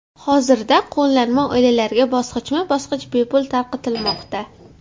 Hozirda qo‘llanma oilalarga bosqichma-bosqich bepul tarqatilmoqda.